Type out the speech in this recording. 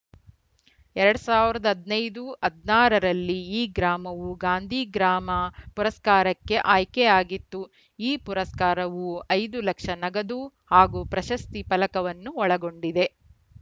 ಎರಡ್ ಸಾವಿರದ ಹದಿನೈದು ಹದಿನಾರ ರಲ್ಲಿ ಈ ಗ್ರಾಮವು ಗಾಂಧಿ ಗ್ರಾಮ ಪುರಸ್ಕಾರಕ್ಕೆ ಆಯ್ಕೆಯಾಗಿತ್ತು ಈ ಪುರಸ್ಕಾರವು ಐದು ಲಕ್ಷ ನಗದು ಹಾಗೂ ಪ್ರಶಸ್ತಿ ಫಲಕವನ್ನು ಒಳಗೊಂಡಿದೆ